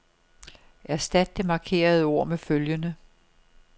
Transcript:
Erstat det markerede ord med følgende.